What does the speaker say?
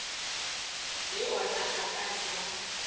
le ona a ka nna